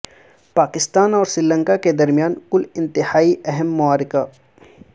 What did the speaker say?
پاکستان اور سری لنکا کے درمیان کل انتہائی اہم معرکہ